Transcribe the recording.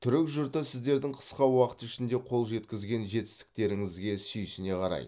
түрік жұрты сіздердің қысқа уақыт ішінде қол жеткізген жетістіктеріңізге сүйсіне қарайды